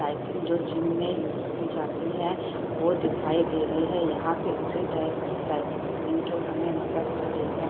Cycle जो gym में use की जाती हैं वो दिखाई दे रही है | यहाँ पे उसी टाइप की साइकिल तीन ठो हमें नजर आ रही हैं।